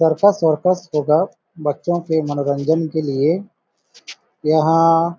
circus स्वरकस होगा बच्चों के मनोरंजन के लिए यहां --